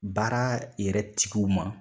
Baara yɛrɛ tigiw ma.